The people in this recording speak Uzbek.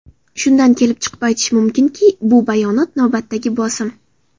Shundan kelib chiqib aytish mumkinki, bu bayonot navbatdagi bosim.